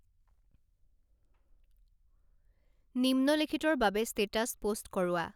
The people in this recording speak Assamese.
নিম্নোলেখিতৰ বাবে ষ্টেটাচ পোষ্ট কৰোৱা